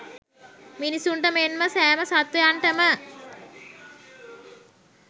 මිනිසුන්ට මෙන් ම සෑම සත්ත්වයන්ට ම